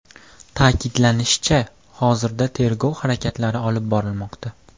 Ta’kidlanishicha, hozirda tergov harakatlari olib borilmoqda.